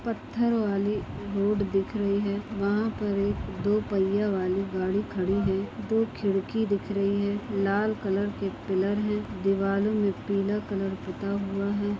पत्थर वाली रोड दिख रही है वहाँ पर एक दो पहिया वाली गाड़ी खड़ी है दो खिड़की दिख रही है लाल कलर के पिलर है दिवालों में पीला कलर पुता हुआ है।